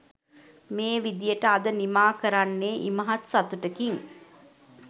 මේ විදියට අද නිමා කරන්නේ ඉමහත් සතුටකින්